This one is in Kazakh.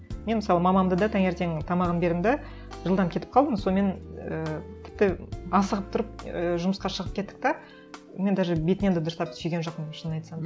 мен мысалы мамамды да таңертең тамағын бердім де жылдам кетіп қалдым сонымен ііі тіпті асығып тұрып ііі жұмысқа шығып кеттік те мен даже бетінен де дұрыстап сүйген жоқпын шынын айтсам